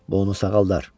Bu onu sağaldar.